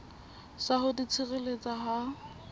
sa ho di tshireletsa ha